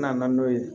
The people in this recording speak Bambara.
N nana n'o ye